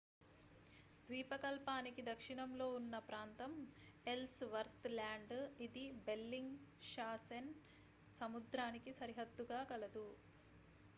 ద్వీపకల్పానికి దక్షిణంలో ఉన్న ప్రాంతం ఎల్స్ వర్త్ ల్యాండ్ ఇది బెల్లింగ్ షాసెన్ సముద్రానికి సరిహద్దుగా కలదు